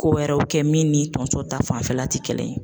Ko wɛrɛw kɛ min ni tonso ta fanfɛla ti kelen ye